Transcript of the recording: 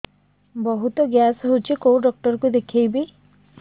ବହୁତ ଗ୍ୟାସ ହଉଛି କୋଉ ଡକ୍ଟର କୁ ଦେଖେଇବି